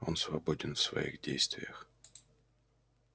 он свободен в своих действиях